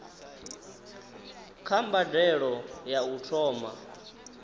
kha mbadelo ya u thoma